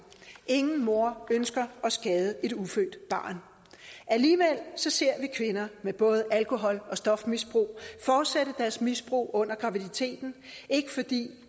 ingen mor ønsker at skade et ufødt barn alligevel ser vi kvinder med både et alkohol og stofmisbrug fortsætte deres misbrug under graviditeten ikke fordi